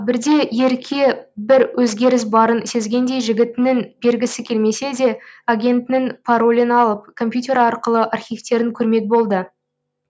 бірде ерке бір өзгеріс барын сезгендей жігітінің бергісі келмесе де агентінің паролін алып компьютер арқылы архивтерін көрмек болды